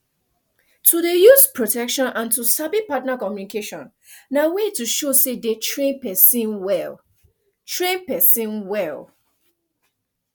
to dey use protection and to sabi partner communication na way to show say dey train person well train person well